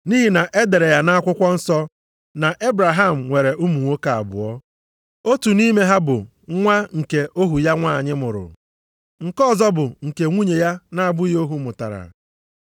Nʼihi na e dere ya nʼakwụkwọ nsọ na Ebraham nwere ụmụ nwoke abụọ. Otu nʼime ha bụ nwa nke ohu ya nwanyị mụrụ, nke ọzọ bụ nke nwunye ya na-abụghị ohu mụtara.